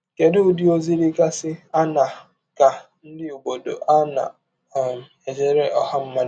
Kedụ Ụdị ọzi dịgasị aṅaa ka ndị ọbọdọ na um - ejere ọha mmadụ?